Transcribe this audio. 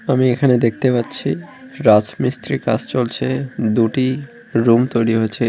আমি এখানে দেখতে পাচ্ছি রাজমিস্ত্রি কাজ চলছে দুটি রুম তৈরি হয়েছে।